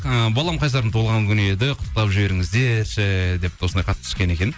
ы балам қайсардың туылған күні еді құттықтап жіберіңіздерші деп осындай хат түскен екен